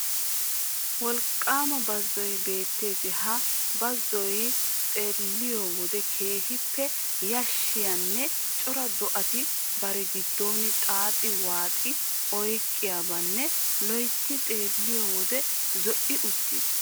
Wolqqaama bazzoy beettees ha bazzoy xeelliyo wode keehippe yashshiyanne cora do'ata bari giddon xaaxi waaxi oyqqiyabanne loytti xeelliyo wode zo"i uttiis.